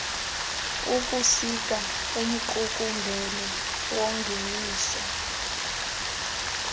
ukusika umqukumbelo wongeniso